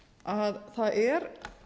að það er